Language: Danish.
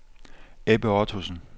Ebbe Ottosen